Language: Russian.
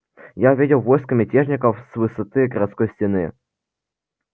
я увидел войско мятежников с высоты городской стены